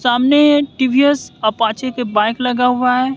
सामने एक टी_वी_एस अपाचे के बाइक लगा हुआ हैं।